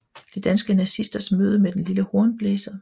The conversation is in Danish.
De danske nazisters møde ved Den lille Hornblæser